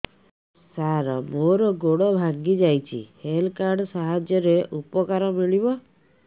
ସାର ମୋର ଗୋଡ଼ ଭାଙ୍ଗି ଯାଇଛି ହେଲ୍ଥ କାର୍ଡ ସାହାଯ୍ୟରେ ଉପକାର ମିଳିବ